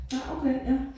Nej okay ja